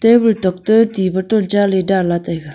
table tok te ti bottle cha le dan le taga.